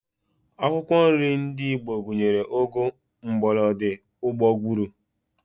Akwụkwọ nri ndị Igbo gụnyere, ụgụ, mgbọlọdị, ụgbọgụrụ